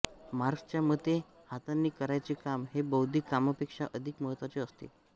मार्क्सच्या मते हातांनी करायचे काम हे बौद्धिक कामापेक्षा अधिक महत्त्वाचे असते